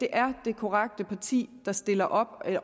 er det korrekte parti der stiller op